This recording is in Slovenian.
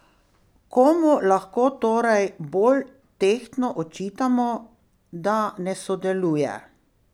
Komu lahko torej bolj tehtno očitamo, da ne sodeluje?